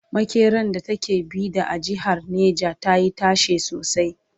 makeran da ta ke Bida a jehar neja tayi tashe sosai